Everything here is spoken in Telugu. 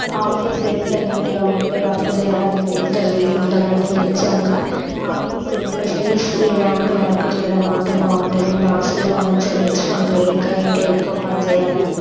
ఆఫీస్ ఎంత నీట్ గ ఉంటె వర్క్ చెయ్యడం అంత వీలుగా ఉంటుందండీ నిజ్జంగా ఆఫీస్ ఎంత ప్యాసిఫుల్ ఉంటె వర్క్ చెయ్యడం అంత బాగుంటది బాస్ కూడా మంచిగా మెచ్చుకుంటే ఇంకా ఇంకా ఎక్కువ పని చెయ్యాలనిపిస్త--